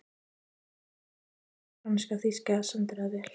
Þar reyndust breska, franska og þýska sendiráðið vel.